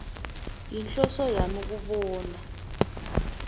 yinhloso yami kubona